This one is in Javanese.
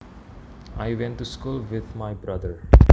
I went to school with my brother